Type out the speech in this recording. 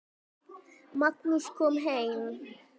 Magnús kom heim.